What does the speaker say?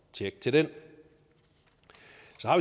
tjek til den